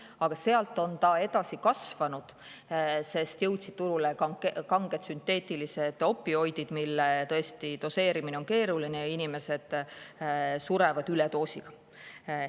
Aga sealt edasi on ta kasvanud, sest turule jõudsid kanged sünteetilised opioidid, mille doseerimine on tõesti keeruline ja inimesed surevad üledoosi tõttu.